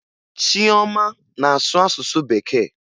Chioma na-asụ asụsụ Bekee